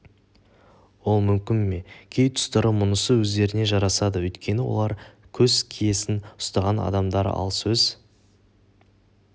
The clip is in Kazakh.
ол мүмкін ме кей тұстары мұнысы өздеріне жарасады өйткені олар сөз киесін ұстаған адамдар ал сөз